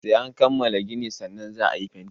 Sai an kammala ginin sannan za a yi fenti.